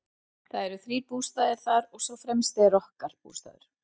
Það eru þrír bústaðir þar og sá fremsti er okkar bústaður.